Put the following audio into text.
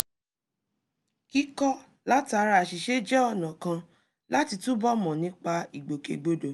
kíkọ́ látara àṣìṣe jẹ́ ọ̀nà kan láti túbọ̀ mọ̀ nípa ìgbòkègbodò